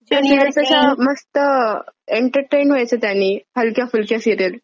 ते कशा अशा मस्त एंटरटेन व्हायचं त्यानी हलक्या फुलक्या सीरिअल.